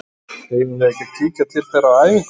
Eigum við ekki að kíkja til þeirra á æfingu?